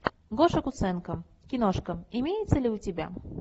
гоша куценко киношка имеется ли у тебя